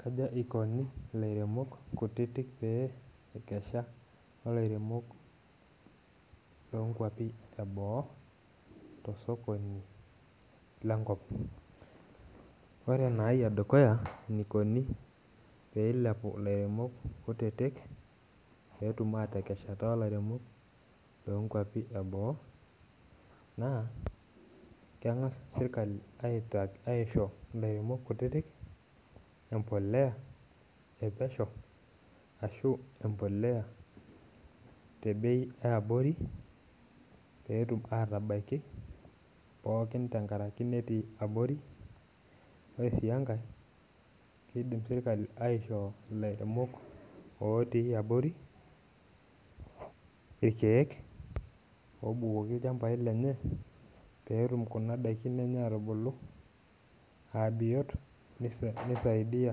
Kaja ikoni ilairemok kutitik pee ekesha olairemok lonkuapi eboo tosokoni lenkop, ore enai edukuya enikoni pee eilepu ilairemok kutitik peetum atekeshata olairemok lonkuapi eboo naa keng'as sirkali aita aisho ilairemok kutitik empoleya epesho ashu empoleya te bei eabori petum atabaiki pookin tenkaraki netii abori ore sii enkae keidim sirkali aishoo ilairemok otii abori irkeek obukoki ilchambai lenye peetum kuna daikin enye atubulu abiot nisa nisaidiyia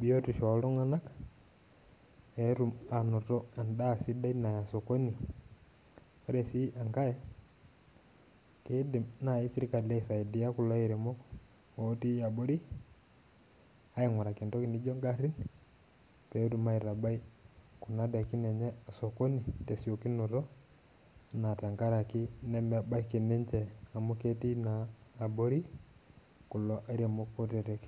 biotisho oltung'anak peetum anoto endaa sidai naya sokoni ore sii enkae kidim naaji sirkali aisaidia kulo airemok otii abori aing'uraki entoki nijio ingarrin petum aitabai kuna daikin enye sokoni tesiokinoto naa tenkarake nemebaiki ninche amu ketii naa abori kulo airemok kutitik.